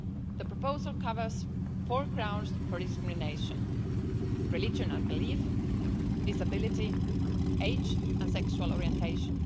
The proposal covers four grounds for discrimination religion and belief, disability, age and sexual orientation.